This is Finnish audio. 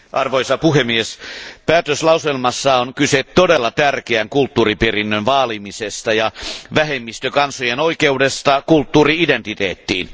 Arvoisa puhemies, päätöslauselmassa on kyse todella tärkeän kulttuuriperinnön vaalimisesta ja vähemmistökansojen oikeudesta kulttuuri identiteettiin.